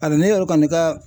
Hali ne yɛrɛ kɔni ka